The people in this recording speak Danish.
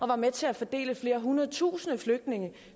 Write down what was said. var med til at fordele flere hundrede tusinde flygtninge i